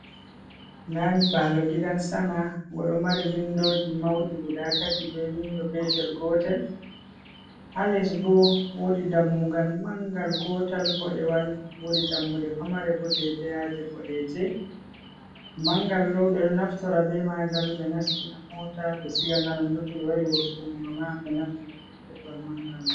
Ndaa nyiɓaalo gidan sama, ngo ɗo mari windoji mauɗi guda tati, be windo petel gotel, ha les bo woodi dammugal mangal gotal boɗewal, woodi dammuɗe pamare bo dedeyaje boɗeje. Mangal ɗo ɓe ɗo naftora be magal ɓe nastina mota ɓe siga nga, nonnon to ɓe wari wurtungo nga ma, ɓe naftira be getwal mangal man.